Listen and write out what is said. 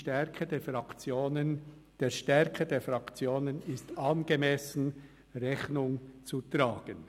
«Der Stärke der Fraktionen ist angemessen Rechnung zu tragen.».